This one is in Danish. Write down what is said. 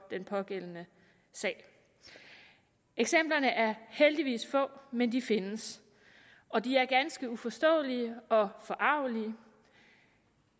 den pågældende sag eksemplerne er heldigvis få men de findes og de er ganske uforståelige og forargelige